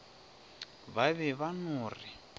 ba be ba no re